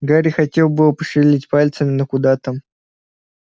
гарри хотел было пошевелить пальцами но куда там